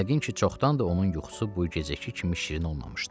Yəqin ki, çoxdandır onun yuxusu bu gecəki kimi şirin olmamışdı.